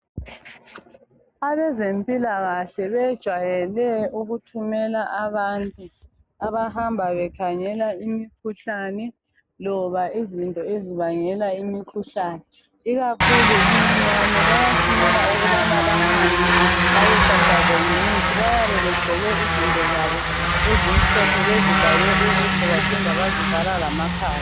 Abezempilakahle bejwayele ukuthumela abantu abahamba bekhangela imikhuhlane loba izinto ezibangela imikhuhlane ikakhulu iminyane bayathumela ukubana bahambe bayofafaza ngemithi bayabe begqoke izinto zabo ezimhlophe bezivale ubuso baphinda bazivala lamakhala